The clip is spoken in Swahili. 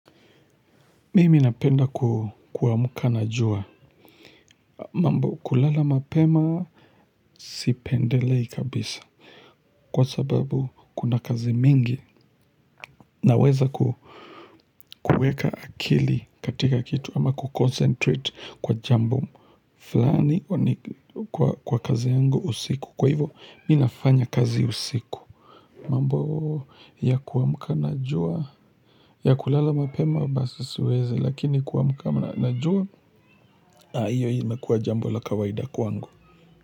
Mimi napenda kuamka na jua. Mambo kulala mapema sipendelei kabisa. Kwa sababu kuna kazi mingi. Naweza kuweka akili katika kitu ama kuconcentrate kwa jambo fulani kwa kazi yangu usiku. Kwa hivyo mimi nafanya kazi usiku. Mambo ya kuamka na jua ya kulala mapema basi siwezi. Lakini kuamka na jua na hiyo hiyo inakua jambo la kawaida kwangu.